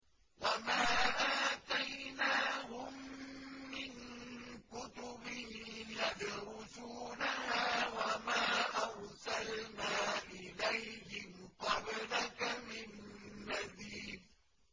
وَمَا آتَيْنَاهُم مِّن كُتُبٍ يَدْرُسُونَهَا ۖ وَمَا أَرْسَلْنَا إِلَيْهِمْ قَبْلَكَ مِن نَّذِيرٍ